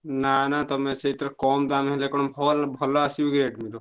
ନା ନା ତମେ ସେଥିରେ କମ୍ ଦାମ୍ ହେଲେ କଣ phone ଭଲ ଆସିବ କି Redmi ର?